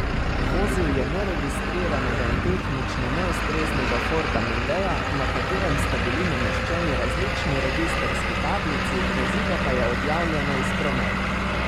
Vozil je neregistriranega in tehnično neustreznega forda mondea, na katerem sta bili nameščeni različni registrski tablici, vozilo pa je odjavljeno iz prometa.